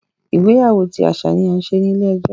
Ìgbéyàwó ti aṣa ni a ń ṣe ni ile-ẹjọ.